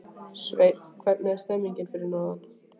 Sveinn, hvernig er stemningin fyrir norðan?